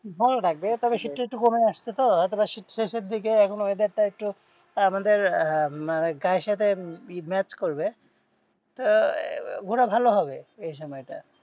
ভালো লাগবে তবে শীতটা একটু কমে আসছে তো হয়তো বা শীত শেষের দিকে, এখন weather টা একটু আহ আমাদের গায়ের সাথে match করবে, তো ঘোরা ভালো হবে এই সময়টা।